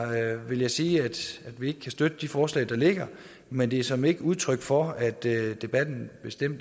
vil jeg sige at vi ikke kan støtte de forslag der ligger men det er såmænd ikke udtryk for at debatten